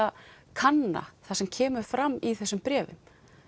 kanna það sem kemur fram í þessum bréfum